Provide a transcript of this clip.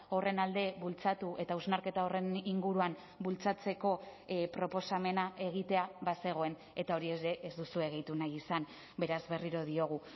horren alde bultzatu eta hausnarketa horren inguruan bultzatzeko proposamena egitea bazegoen eta hori ere ez duzue gehitu nahi izan beraz berriro diogu